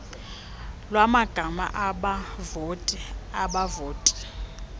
lwamagama abavoti abavoti